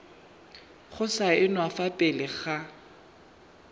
go saenwa fa pele ga